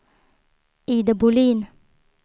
Ida Bohlin